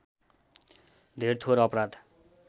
धेर थोर अपराध